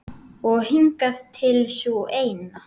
Og hingað til sú eina.